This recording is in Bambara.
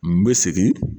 N bɛ segin